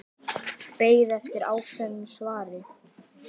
Beið eftir ákveðnu svari.